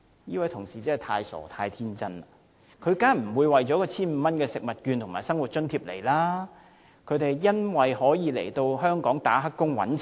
這位同事真是太傻、太天真，他們當然不會為了這些食物券和生活津貼來港，他們來港的目的是當"黑工"賺錢。